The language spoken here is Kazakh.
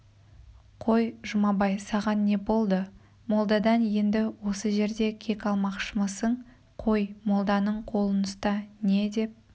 қой жұмабай саған не болды молдадан енді осы жерде кек алмақшымысың қой молданың қолын ұста не деп